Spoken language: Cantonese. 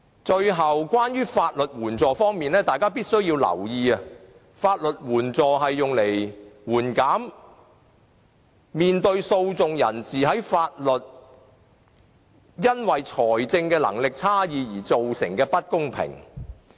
最後，關於法律援助方面，大家必須留意，法律援助是用來緩減訴訟人士面對法律時因為財政能力差異而造成的不公平。